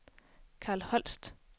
Karl Holst